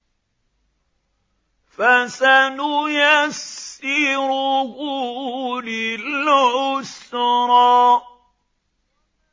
فَسَنُيَسِّرُهُ لِلْعُسْرَىٰ